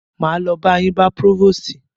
Máa lo ba yín bá próvòstì.